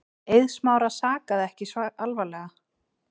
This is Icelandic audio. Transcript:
Eið Smára sakaði ekki alvarlega.